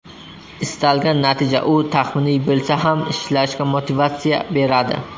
Istalgan natija u taxminiy bo‘lsa ham ishlashga motivatsiya beradi.